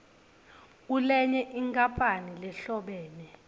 kulenye inkampani lehlobene